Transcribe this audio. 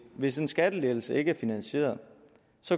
hvis en skattelettelse ikke er finansieret